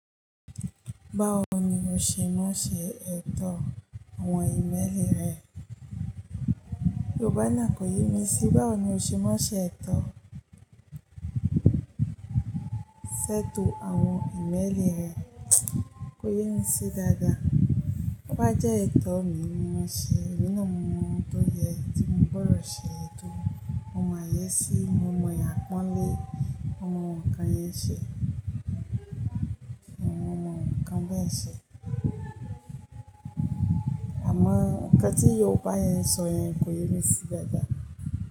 Báwo ni o ṣe má ṣe ètò àwọn ìméẹ́lì rẹ? Yorùbá náà kò yé mi sí. Báwo ni o ṣe má ṣe ètò, ṣètò àwọn ìmẹ́lì rẹ, kò yé mi sí dáadáa. Ó bá jẹ́ ètò mi ni mo ṣe, nínú àwọn ohun tó yẹ tí mo gbọdọ̀ ṣe ètò, àwọn ayé sí, mo mọ ìyà ń pọ́n lé, àwọn ǹkan yẹn ṣe, àwọn ǹkan bẹ́ẹ̀ ṣe. Àmọ́ ǹkan tí Yorùbá yẹn sọ yẹn kò yé mi sí dáadáa.